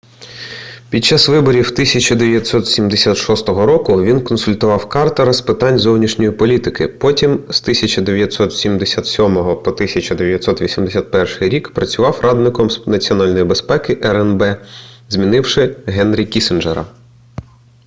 під час виборів 1976 року він консультував картера з питань зовнішньої політики потім з 1977 по 1981 рік працював радником з національної безпеки рнб змінивши генрі кіссінджера